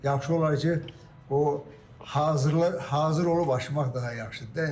Yaxşı olar ki, o hazır olub açmaq daha yaxşıdır da.